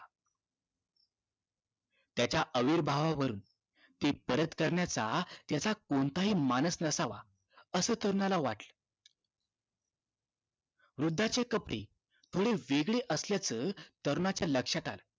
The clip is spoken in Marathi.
त्याच्या अविर्भावावरून ते परत करण्याचा त्याचा कोणताही मानस नसावा असं तरुणाला वाटल वृद्धांचे कपडे थोडे वेगळे असल्याचं तरुणाच्या लक्ष्यात आले